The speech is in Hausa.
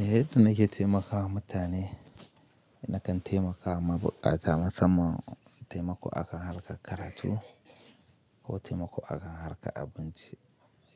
Eh, yadda nake taimakawa mutane, ina kan taimakawa buƙata. Masamman taimako akan harkar karatu ko taimako akan harkar abinci.